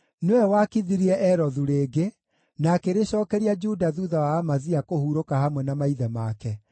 Nĩwe waakithirie Elothu rĩngĩ, na akĩrĩcookeria Juda thuutha wa Amazia kũhurũka hamwe na maithe make.